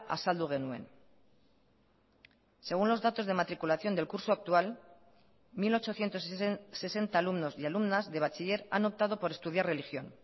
azaldu genuen según los datos de matriculación del curso actual mil ochocientos sesenta alumnos y alumnas de bachiller han optado por estudiar religión